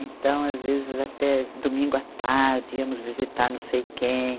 Então, às vezes, até domingo à tarde íamos visitar não sei quem.